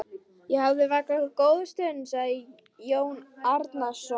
Ég hef vakað góða stund, sagði Jón Arason.